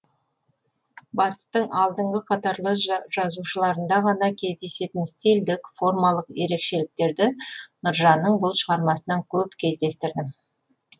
батыстың алдыңғы қатарлы жазушыларында ғана кездесетін стильдік формалық ерекшіліктерді нұржанның бұл шығармасынан көп кездестірдім